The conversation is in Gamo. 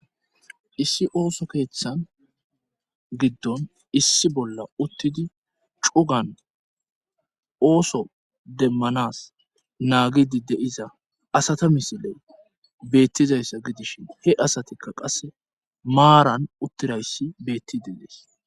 Issi ooso keeththan giddon issi bolla uttidi cugan ooso demmanas naagidi deiza asata misiley beettizayssa gidishin he asatikka qasse maaran uttirayssi beetti de dees